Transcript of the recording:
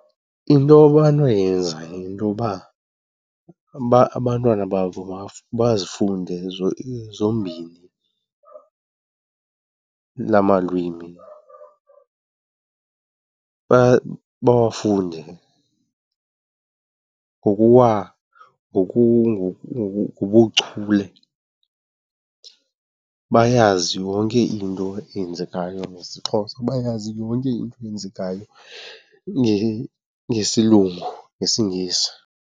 Into abanoyenza yintoba abantwana babo bazifunde zombini la malwimi. Bawafunde ngokubuchule, bayazi yonke into eyenzekayo ngesiXhosa, bayazi yonke into eyenzekayo ngesilungu, ngesiNgesi.